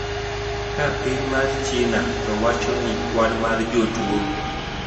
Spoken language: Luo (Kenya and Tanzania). Ka piny mar China to wacho ni kwan mar jotuo